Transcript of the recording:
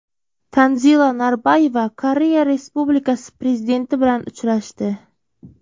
Tanzila Norboyeva Koreya Respublikasi prezidenti bilan uchrashdi.